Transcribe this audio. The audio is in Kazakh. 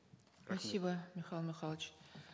спасибо михаил михайлович